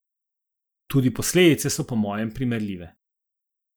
Tudi posledice so po mojem primerljive.